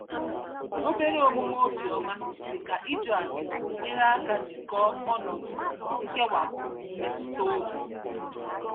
Obere omume obiọma, dị ka ịjụ ase nyere aka jikọọ ọnọdụ nkewapụ mmetụtaobi.